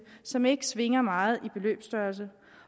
som ikke svinger meget i beløbsstørrelse